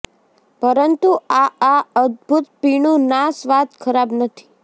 પરંતુ આ આ અદ્ભુત પીણું ના સ્વાદ ખરાબ નથી